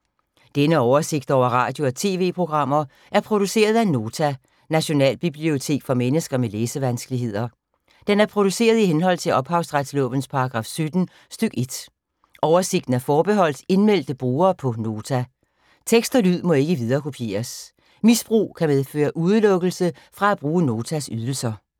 Denne oversigt over radio og TV-programmer er produceret af Nota, Nationalbibliotek for mennesker med læsevanskeligheder. Den er produceret i henhold til ophavsretslovens paragraf 17 stk. 1. Oversigten er forbeholdt indmeldte brugere på Nota. Tekst og lyd må ikke viderekopieres. Misbrug kan medføre udelukkelse fra at bruge Notas ydelser.